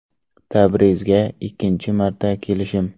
Tabrizga ikkinchi marta kelishim.